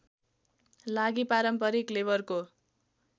लागि पारम्परिक लेबरको